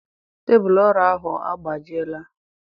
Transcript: Tebụlụ ọrụ ahụ agbajiela.